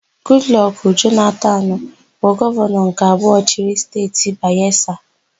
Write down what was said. Gudlọkụ Jonatanu bụ gọvanọ nke abụọ chịrị Steeti Bayesa.